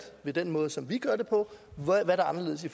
ved den måde som vi gør det på hvad er anderledes i